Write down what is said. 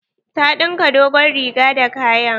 Ta ɗinka dogon riga da kayan.